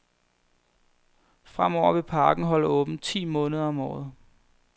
Fremover vil parken holde åbent ti måneder om året.